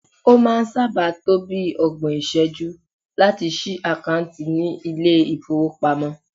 O maa n saa ba to bii ogbon iseju lati si akanti ni ile ifowopamo